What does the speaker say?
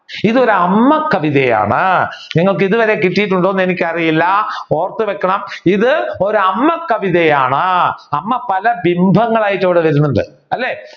ഇത് ഒരു അമ്മ കവിതയാണ് നിങ്ങൾക്ക് ഇതുവരെ കിട്ടിയിട്ടുണ്ടോ എന്ന് എനിക്ക് അറിയില്ല ഓർത്തുവെക്കണം ഇത് ഒരു അമ്മ കവിതയാണ് അമ്മ പല ഭിംഭങ്ങൾ ആയിട്ട് ഇവിടെ വരുന്നുണ്ട് അല്ലെ